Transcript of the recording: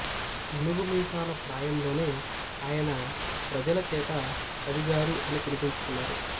నూనూగు మీసాల ప్రాయంలోనే ఆయన ప్రజల చేత కవిగారు అని పిలిపించుకున్నారు